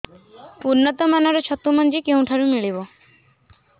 ଉନ୍ନତ ମାନର ଛତୁ ମଞ୍ଜି କେଉଁ ଠାରୁ ମିଳିବ